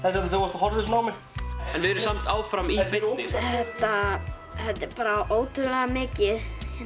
horfðir svona á mig við erum samt áfram í beinni þetta er ótrúlega mikið